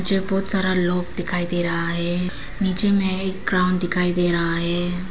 मुझे बहोत सारा लोग दिखाई दे रहा है नीचे में एक ग्राउंड दिखाई दे रहा है।